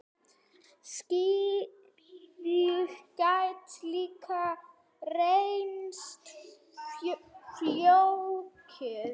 Slíkt gæti líka reynst flókið.